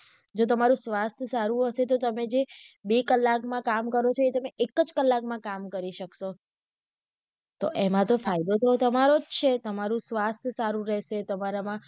જો તમારું સ્વાસ્થ સારું હશે તો તમે બે કલાકમાં કામ કરો ચો એ તમે એક જ કલાકમાં કામ કરી સક્સો તો એમાં તો ફાયદો તો તમારો જ છે તમારું સ્વાસ્થ સારું રહેશે તમારા માં